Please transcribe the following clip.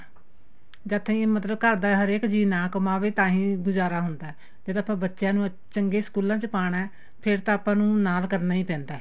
ਜਦ ਤਾਂਈ ਮਤਲਬ ਹਰੇਕ ਜੀ ਨਾ ਕਮਾਵੇ ਤਾਹੀ ਗੁਜਾਰਾ ਹੁੰਦਾ ਜਦ ਆਪਾਂ ਬੱਚਿਆਂ ਨੂੰ ਚੰਗੇ ਸਕੂਲਾ ਚ ਪਾਣਾ ਫੇਰ ਤਾਂ ਆਪਾਂ ਨੂੰ ਨਾਲ ਕਰਨਾ ਈ ਪੈਂਦਾ